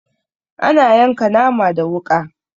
Ana yanka nama da wuƙa.